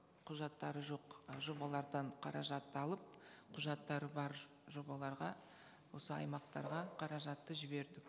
құжаттары жоқ ы жобалардан қаражатты алып құжаттары бар жобаларға осы аймақтарға қаражатты жібердік